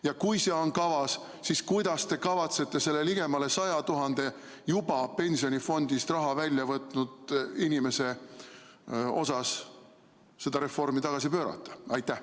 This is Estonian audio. Ja kui see on kavas, siis kuidas te kavatsete selle ligemale 100 000 juba pensionifondist raha välja võtnud inimese osas seda reformi tagasi pöörata?